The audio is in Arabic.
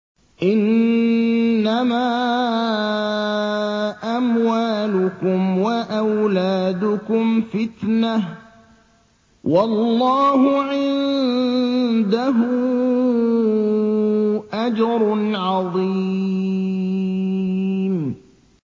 إِنَّمَا أَمْوَالُكُمْ وَأَوْلَادُكُمْ فِتْنَةٌ ۚ وَاللَّهُ عِندَهُ أَجْرٌ عَظِيمٌ